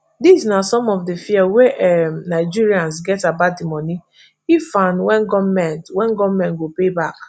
dis na some of di fear wey um nigerians get about di money if and wen goment wen goment go pay back